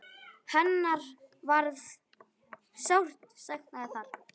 Hennar verður sárt saknað þar.